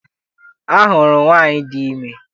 A hụrụ m nwaanyị di ime.